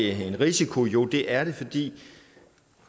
er det en risiko jo det er det fordi